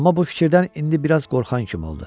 Amma bu fikirdən indi biraz qorxan kimi oldu.